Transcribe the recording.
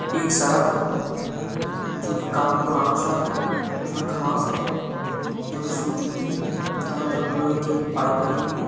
एक सड़क है जो की काफी पुराना सड़क है उसमे घास है जो की सुख चुकी है दोनों तरफ लोहे की पाइप लगी हुई है।